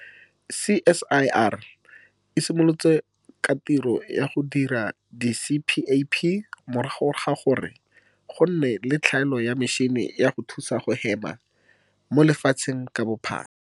CSIR e simolotse ka tiro ya go dira di-CPAP morago ga gore go nne le tlhaelo ya metšhini ya go thusa go hema mo lefatsheng ka bophara.